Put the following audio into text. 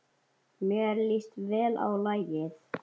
Mér líst vel á lagið.